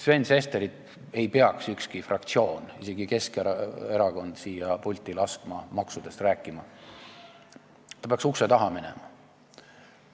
Sven Sesterit ei peaks ükski fraktsioon, isegi Keskerakond siia pulti laskma maksudest rääkima, ta peaks ukse taha minema.